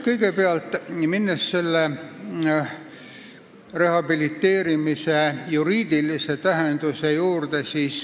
Kõigepealt aga rehabiliteerimise juriidilisest tähendusest.